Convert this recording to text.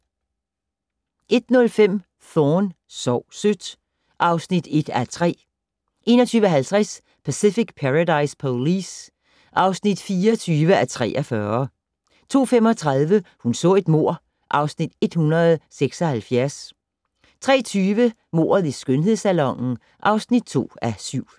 01:05: Thorne: Sov sødt (1:3) 01:50: Pacific Paradise Police (24:43) 02:35: Hun så et mord (Afs. 176) 03:20: Mordet i skønhedssalonen (2:7)